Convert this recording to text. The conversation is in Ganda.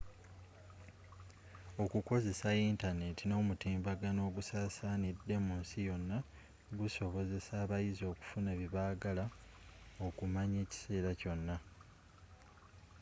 okukozesa yintaneeti n'omutimbagano ogusaasaanidde munsi yonna gusobozesa abayizi okufuna bye baagala okumanya ekiseera kyonna